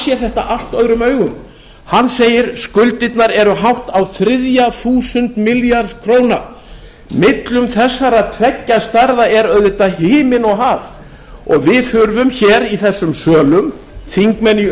sér þetta allt öðrum augum hann segir skuldirnar eru hátt á þriðja þúsund milljarð króna millum þessara tveggja stærða er auðvitað himinn og haf og við þurfum hér í þessum sölum þingmenn í